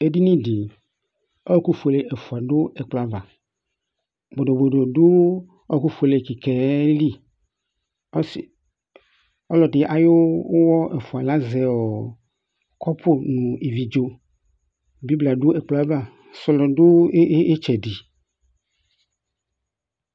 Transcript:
Edinifi ɔwɔku fuele ɛfua fu ɛkplɔ ava Bodo du ɔwɔku fuelr kikaɛyɛli Ɔlɔdi awu ʊwɔ ɛfua lazɛ kɔpu nu ivi dzo Bibla du ɛkplɔ ava Sɔlɔ du ayitsɛdi